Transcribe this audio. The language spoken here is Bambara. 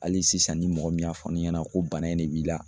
Hali sisan ni mɔgɔ min y'a fɔ ne ɲɛna ko bana in de b'i la